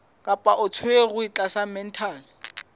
kapa o tshwerwe tlasa mental